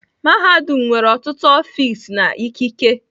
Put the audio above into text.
mahadum nwere ọtụtụ ọfịs na ikike.